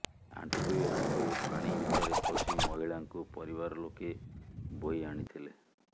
ଆଣ୍ଠୁଏ ଆଣ୍ଠୁଏ ପାଣି ଭିତରେ ପଶି ମହିଳାଙ୍କୁ ପରିବାର ଲୋକେ ବୋହି ଆଣିଥିଲେ